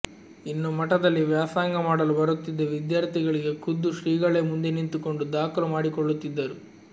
ಇನ್ನು ಮಠದಲ್ಲಿ ವ್ಯಾಸಂಗ ಮಾಡಲು ಬರುತ್ತಿದ್ದ ವಿದ್ಯಾರ್ಥಿಗಳಿಗೆ ಖುದ್ದು ಶ್ರೀಗಳೇ ಮುಂದೆ ನಿಂತುಕೊಂಡು ದಾಖಲು ಮಾಡಿಕೊಳ್ಳುತ್ತಿದ್ದರು